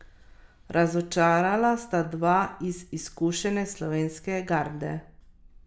Nekateri verjamejo, da bo ženinu in nevesti prineslo nesrečo, če se uzreta na dan pred dejanskim obredom.